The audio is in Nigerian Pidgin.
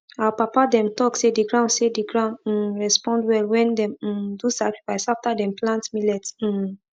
our papa dem talk say the ground say the ground um respond well when dem um do sacrifice after dem plant millet um